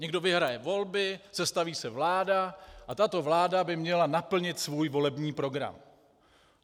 Někdo vyhraje volby, sestaví se vláda a tato vláda by měla naplnit svůj volební program.